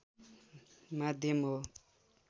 माध्यम हो